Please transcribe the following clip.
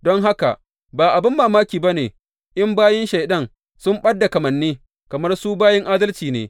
Don haka, ba abin mamaki ba ne, in bayin Shaiɗan sun ɓad da kamanni kamar su bayin adalci ne.